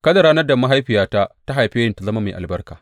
Kada ranar da mahaifiyata ta haife ni ta zama mai albarka!